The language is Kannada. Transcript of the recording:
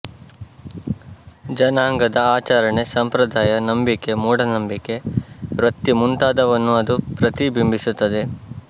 ಜನಾಂಗದ ಆಚರಣೆ ಸಂಪ್ರದಾಯ ನಂಬಿಕೆ ಮೂಢನಂಬಿಕೆ ವೃತ್ತಿ ಮುಂತಾದವನ್ನೂ ಅದು ಪ್ರತಿ ಬಿಂಬಿಸುತ್ತದೆ